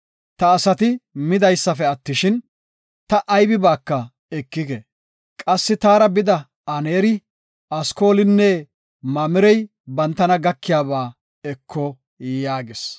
Ta asati midaysafe attishin ta aybibaaka ekike. Qassi taara bida Aneeri, Askoolinne Mamirey bantana gakiyaba eko” yaagis.